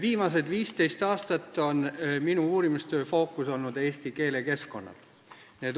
Viimased 15 aastat on minu uurimistöö fookuses olnud eesti keelekeskkonnad.